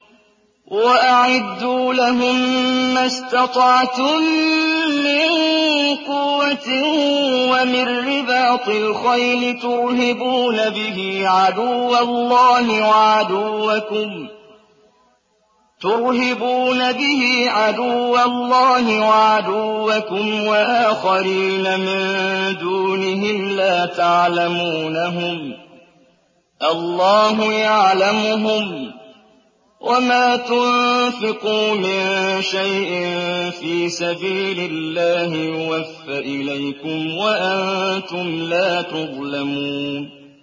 وَأَعِدُّوا لَهُم مَّا اسْتَطَعْتُم مِّن قُوَّةٍ وَمِن رِّبَاطِ الْخَيْلِ تُرْهِبُونَ بِهِ عَدُوَّ اللَّهِ وَعَدُوَّكُمْ وَآخَرِينَ مِن دُونِهِمْ لَا تَعْلَمُونَهُمُ اللَّهُ يَعْلَمُهُمْ ۚ وَمَا تُنفِقُوا مِن شَيْءٍ فِي سَبِيلِ اللَّهِ يُوَفَّ إِلَيْكُمْ وَأَنتُمْ لَا تُظْلَمُونَ